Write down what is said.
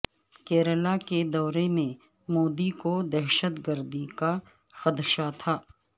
کیرلاکے دورے میں مودی کو دہشتگردی کا خدشہ تھا